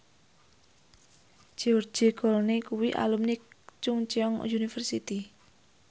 George Clooney kuwi alumni Chungceong University